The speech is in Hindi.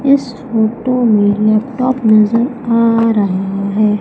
इस फोटो में लैपटॉप नजर आ रहा है।